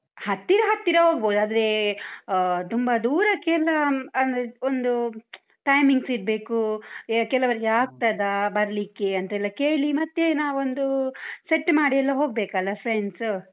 ಹತ್ತಿರ ಹತ್ತಿರ ಹೋಗ್ಬೋದು. ಆದ್ರೆ, ಆಹ್ ತುಂಬ ದೂರಕ್ಕೆಲ್ಲ ಅಂದ್ರೆ ಒಂದು timings ಇರ್ಬೇಕು. ಯ ಕೆಲವರಿಗೆ ಆಗ್ತದಾ ಬರ್ಲಿಕ್ಕೇ ಅಂತೆಲ್ಲ ಕೇಳಿ, ಮತ್ತೆ ನಾವೊಂದು set ಮಾಡಿ ಎಲ್ಲ ಹೋಗ್ಬೇಕಲ್ಲ friends ಉ.